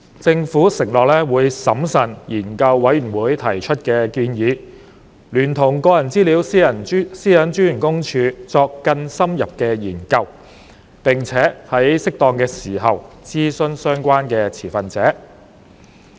政府承諾會審慎研究事務委員會提出的建議，聯同個人資料私隱專員公署作更深入的研究，並且在適當時候諮詢相關持份者。